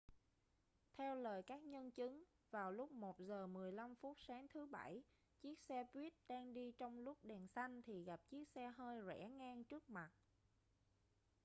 theo lời các nhân chứng vào lúc 1 giờ 15 phút sáng thứ bảy chiếc xe buýt đang đi trong lúc đèn xanh thì gặp chiếc xe hơi rẽ ngang trước mặt